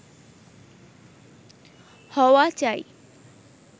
হওয়া চাই